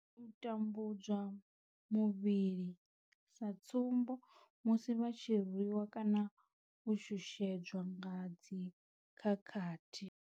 U tambudzwa muvhili, sa tsumbo musi vha tshi rwi wa kana u shushedzwa nga dzi khakhathi.